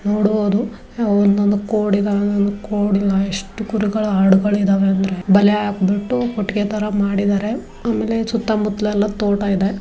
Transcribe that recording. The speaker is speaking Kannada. ನೋಡಬಹುದು ಒಂದೊಂದು ಕೋಡ್ ಇದ್ದಾವೆ ಒಂದೊಂದು ಕೋಡಿನ ಎಷ್ಟ್ ಕುರಿಗಳ್ ಆಡ್ಗಳಿದಾವೆ ಅಂದ್ರೆ ಬಲೇ ಹಾಕ್ಬಿಟ್ಟು ಕೊಟ್ಟಿಗೆ ತರ ಮಾಡಿದ್ದಾರೆ ಆಮೇಲೆ ಸುತ್ತ ಮುತ್ತಾಯೆಲ್ಲಾ ತೋಟ ಇದೆ.